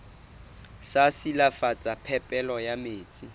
sa silafatsa phepelo ya metsi